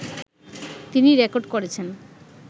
তিনি রেকর্ড করেছেন